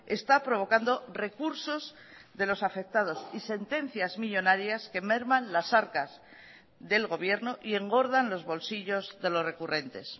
está provocando recursos de los afectados y sentencias millónarias que merman las arcas del gobierno y engordan los bolsillos de los recurrentes